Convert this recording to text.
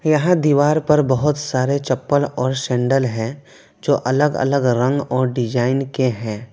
यह दीवार पर बहुत सारे चप्पल और सैंडल हैं जो अलग अलग रंग और डिजाइन के हैं।